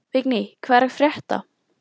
Vigný, hvað er að frétta?